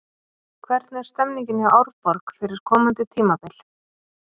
Hvernig er stemningin hjá Árborg fyrir komandi tímabil?